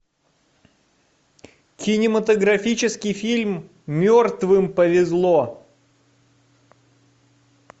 кинематографический фильм мертвым повезло